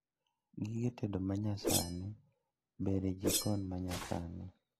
Gige tedo manyasani ber e jikon manyasani